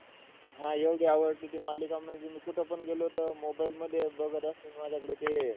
हा. एवढी आवडते की मालिकां, म्हणजे मी कुठंपण गेलो तर mobile मध्ये बघत असतो. माझ्याकडे ते,